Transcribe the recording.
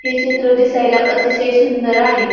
हे चित्र दिसायला अतिशय सुंदर आहे.